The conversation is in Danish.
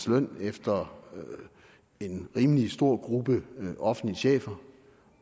løn efter en rimelig stor gruppe offentlige chefer